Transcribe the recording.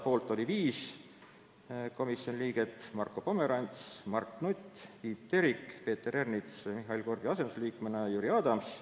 Poolt oli viis komisjoni liiget: Marko Pomerants, Mart Nutt, Tiit Terik, Peeter Ernits ja Mihhaili Korbi asendusliikmena Jüri Adams.